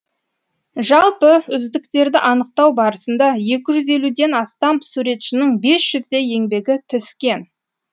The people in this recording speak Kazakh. жалпы үздіктерді анықтау барысында екі жүз елуден астам суретшінің бес жүздей еңбегі түскен